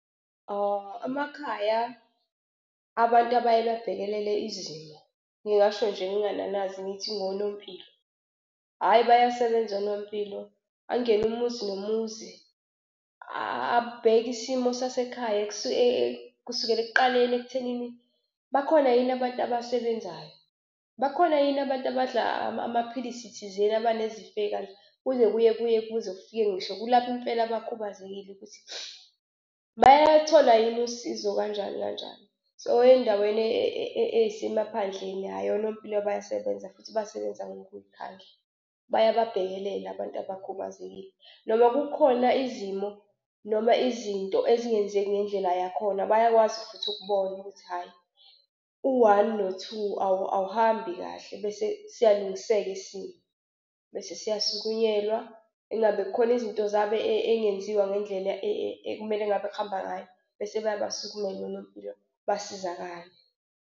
Amakhaya abantu abaye babhekelele izimo ngingasho nje ngingananazi ngithi onompilo. Hhayi bayasebenza onompilo, angene umuzi nomuzi abheke isimo sasekhaya kusukela ekuqaleni ekuthenini bakhona yini abantu abasebenzayo? Bakhona yini abantu abadla amaphilisi thizeni abanezifo ezikanje? Kuze kuye kuye kuze kufike ngisho kulabo impela abakhubazekile ukuthi bayaluthola yini usizo kanjani kanjani. So ey'ndaweni ey'semaphandleni, hhayi onompilo bayasebenza futhi basebenza ngokuy'khandla. Bayababhekelela abantu abakhubazekile, noma kukhona izimo noma izinto ezingenzeki ngendlela yakhona, bayakwazi futhi ukubona ukuthi hhayi u-one no-two awuhambi kahle bese siyalungiseka isimo, bese siyasukunyelwa. Ingabe kukhona izinto zabo ezingenziwa ngendlela ekumele ngabe kuhamba ngayo bese beyabasukumela onompilo basizakale.